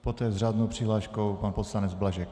Poté s řádnou přihláškou pan poslanec Blažek.